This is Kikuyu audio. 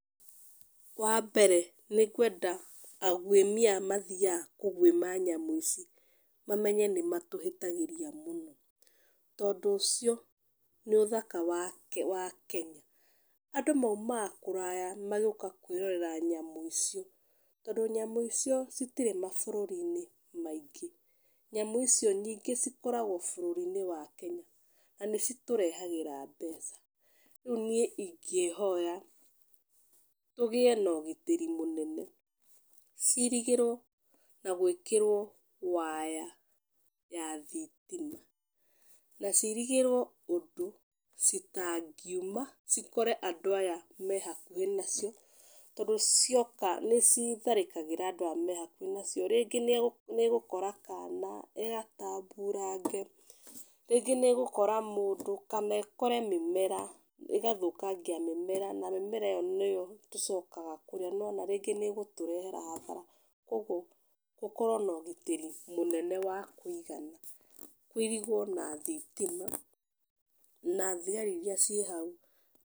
Wa mbere nĩ ngwenda aguĩmi aya mathiaga kũguĩma nyamũ ici mamenye nĩ matũhĩtagĩria mũno, tondũ ũcio nĩ ũthaka wa Kenya, andũ maumaga kũraga magĩũka kwĩrorera nyamũ ici, tondũ nyamũ icio itirĩ mabũrũri maingĩ, nyamũ icio nyingĩ cikoragwo bũrũri-inĩ wa Kenya na nĩ citũrehagĩra mbeca, niĩ ingĩhoya tũgĩe na ũgitĩri mũnene, cirigĩrwo na gwĩkĩrwo waya ya thitima , cirigĩrwo ũndũ itangiuma ikore andũ aya me hakuhĩ nacio, tondũ cioka nĩ citharĩkagĩra andũ arĩa mehakuhĩ nacio, rĩngĩ nĩ gũkora kana ĩgatamburange, rĩngĩ nĩ gũkora mũndũ kana ĩkore mĩmera ĩgathũkangia mĩmera, na mĩmera ĩyo nĩyo tũcokagia kũrĩa nĩ wona rĩngĩ nĩgũtũrehera hathara, koguo gũkorwo na ũgitĩri mũnene wa kũigana, na kũirigĩrwo na thitima na thigari iria ciĩ hau.